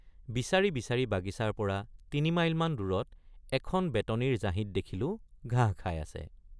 বিচাৰি বিচাৰি বাগিচাৰপৰা তিনিমাইলমান দূৰত এখন বেতনিৰ জাহিত দেখিলোঁ ঘাঁহ খাই আছে।